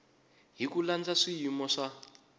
hi ku landza swiyimo swa